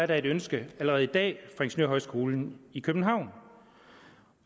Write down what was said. der et ønske allerede i dag fra ingeniørhøjskolen i københavn og